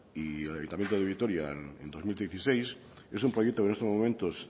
y el ayuntamiento de vitoria en dos mil dieciséis es un proyecto que en estos momentos